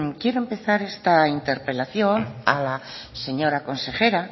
quiero empezar esta interpelación a la señora consejera